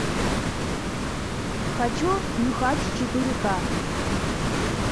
хочу нюхач четыре к